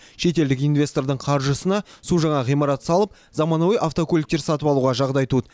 шетелдік инвестордың қаржысына су жаңа ғимарат салып заманауи автокөліктер сатып алуға жағдай туды